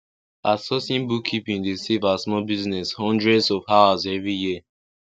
outsourcing bookkeeping dey save her small business hundreds of hours every year